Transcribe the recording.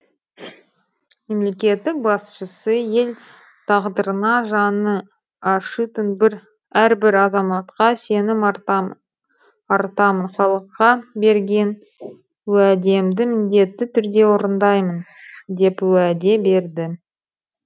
мемлекеттің башысы ел тағдырына жаны ашитын әрбір азаматқа сенім артамын халыққа берген уәдемді міндетті түрде орындаймын деп уәде берді